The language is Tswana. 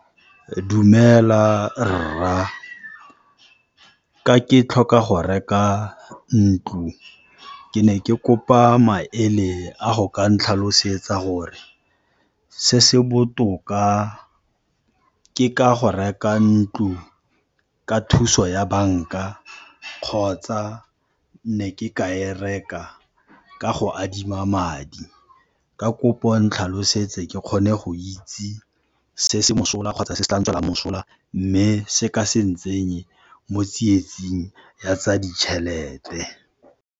Dumela rra! Ka ke tlhoka go reka ntlo, ke ne ke kopa maele a go ka ntlhalosetsa gore se se botoka ke ka go reka ntlo ka thuso ya banka kgotsa ne ke ka e reka ka go adima madi? Ka kopo ntlhalosetse ke kgone go itse se se mosola kgotsa se se tla ntswelang mosola mme se ka se ntsenye mo tsietsing ya tsa ditjhelete.